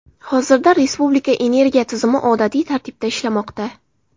Hozirda respublika energiya tizimi odatiy tartibda ishlamoqda.